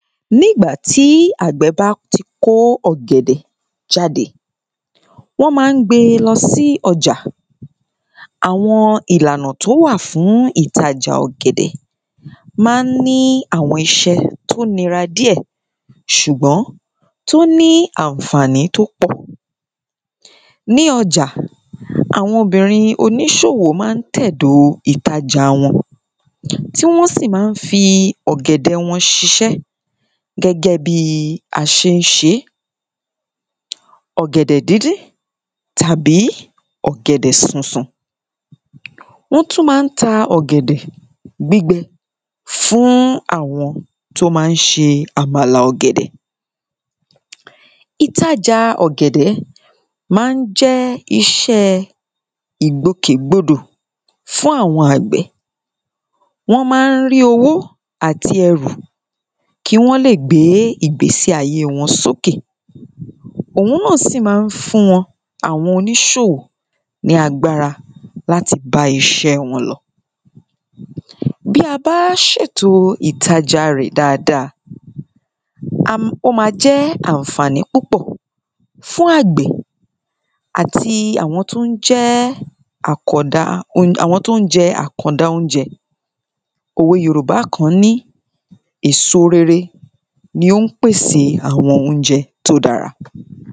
nígbà tí àgbẹ̀ bá ti kó ọ̀gẹ̀dẹ̀ jáde wọ́n máa ń gbe lọ sí ọjà àwọn ìlànà tó wà fún ìtajà ọ̀gẹ̀dẹ̀ máa ń ní àwọn iṣẹ́ tó nira díẹ̀ ṣùgbọ́n tó ní ànfàní tó pọ̀ ní ọjà àwọn obìrin oníṣòwò máa ń tẹ̀dò ìtajà wọn tí wọ́n sì máa ń fi ọ̀gẹ̀dẹ̀ wọn ṣiṣẹ́ gẹ́gẹ́ bí aṣe ń ṣeé ọ̀gẹ̀dẹ̀ díndín tàbí ọ̀gẹ̀dẹ̀ súnsun wọ́n tún máa ń ta ọ̀gẹ̀dẹ̀ gbígbẹ fún àwọn tó máa ń ṣe àbàlà ọ̀gẹ̀dẹ̀ ìtajà ọ̀gẹ̀dẹ̀ máa ń jẹ́ iṣẹ́ ìgbòkègbodò fún àwọn àgbẹ̀ wọ́n máa ń rí owó àti ẹrù kí wọ́n lè gbé ìgbésíayé wọn sókè òhun náà sì máa ń fún wọn àwọn onísòwò ní agbára láti bá iṣẹ́ wọn lọ bí a bá ṣètò ìtajà rẹ̀ dáadáa, ó ma jẹ́ ànfàní púpọ̀ fún àgbẹ̀ àti àwọn tó ń jẹ́ àwọn tó ń jẹ àkọ̀da oúnjẹ òwe yorùbá kan ní èso rere ní ó ń pèsè àwọn oúnjẹ tí ó dára